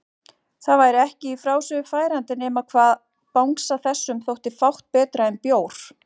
Það væri ekki í frásögur færandi nema hvað bangsa þessum þótti fátt betra en bjór!